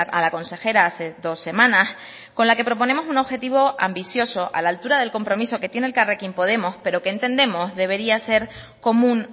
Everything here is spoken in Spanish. a la consejera hace dos semanas con la que proponemos un objetivo ambicioso a la altura del compromiso que tiene elkarrekin podemos pero que entendemos debería ser común